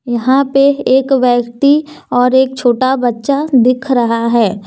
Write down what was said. यहां पे एक व्यक्ति और एक छोटा बच्चा दिख रहा है।